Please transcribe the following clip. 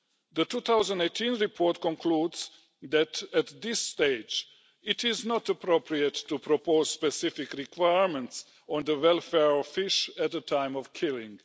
The 2018 report concludes that, at this stage, it is not appropriate to propose specific requirements on the welfare of fish at the time of killing.